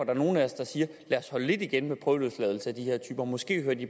er nogle af os der siger lad os holde lidt igen med prøveløsladelse af de her typer måske hører de